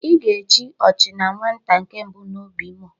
Ị ga-echi Ọchinanwata nke mbụ na Obimo